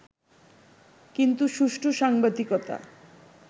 কিন্তু সুষ্ঠু সাংবাদিকতা